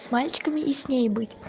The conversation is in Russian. с мальчиками и с ней быть